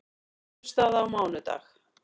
Niðurstaða á mánudag